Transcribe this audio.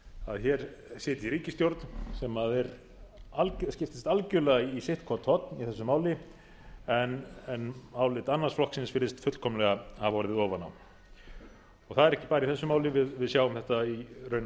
að hér sitji ríkisstjórn sem skiptist algjörlega í sitt hvort horn í þessu máli en álit annars flokksins virðist fullkomlega hafa orðið ofan á það er ekki bara í þessu máli við sjáum þetta í raunar